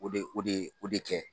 O de o de o de kɛ